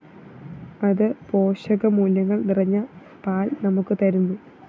അത് പോഷകമൂല്യങ്ങള്‍ നിറഞ്ഞ പാല്‍ നമുക്ക് തരുന്നു